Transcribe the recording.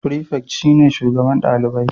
Prefect shine shugaban dalibai